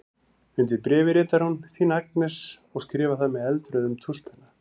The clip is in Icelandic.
Undir bréfið ritar hún: Þín Agnes og skrifar það með eldrauðum tússpenna.